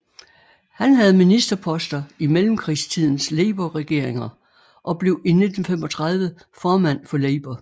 Han havde ministerposter i mellemkrigstidens labourregeringer og blev i 1935 formand for Labour